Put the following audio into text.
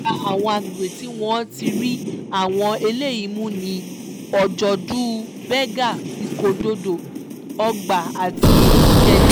lára àwọn àgbègbè tí wọ́n ti rí àwọn eléyìí mú ni ọjọ́dù berger ìkódọ̀dọ́ ọgbà àti ìkẹjà